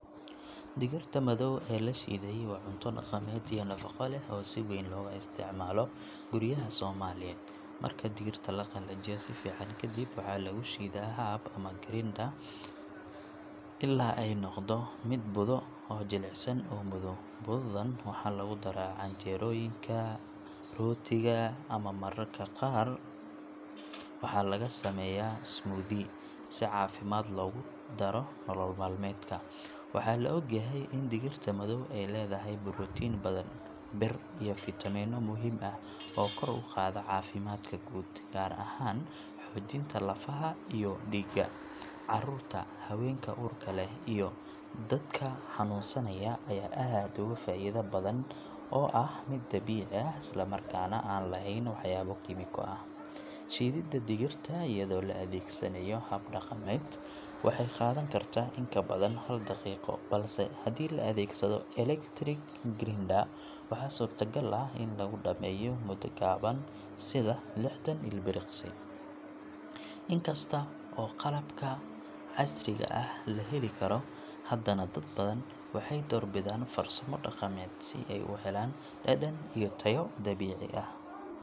Digirta madow ee la shiiday waa cunto dhaqameed iyo nafaqo leh oo si weyn looga isticmaalo guryaha Soomaaliyeed. Marka digirta la qalajiyo si fiican kadib waxaa lagu shiidaa haab ama grinder ilaa ay ka noqoto budo jilicsan oo madow. Budadan waxaa lagu daraa canjeerooyinka, rootiga ama mararka qaar waxaa laga sameeyaa smoothie si caafimaad loogu daro nolol maalmeedka. Waxaa la ogyahay in digirta madow ay leedahay borotiin badan, bir iyo fiitamiino muhiim ah oo kor u qaada caafimaadka guud, gaar ahaan xoojinta lafaha iyo dhiigga. Carruurta, haweenka uurka leh iyo dadka xanuunsanaya ayaa aad uga faa’iida budadan oo ah mid dabiici ah isla markaana aan lahayn waxyaabo kiimiko ah. Shiididda digirta iyadoo la adeegsanayo haab dhaqameed waxay qaadan kartaa in ka badan hal daqiiqo, balse haddii la adeegsado electric grinder waxaa suurtagal ah in lagu dhammeeyo muddo gaaban sida lixdan ilbiriqsi. Inkasta oo qalabka casriga ah la heli karo, haddana dad badan waxay doorbidaan farsamo dhaqameed si ay u helaan dhadhan iyo tayo dabiici ah.